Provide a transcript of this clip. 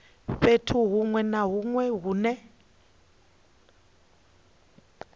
fhethu huṅwe na huṅwe hune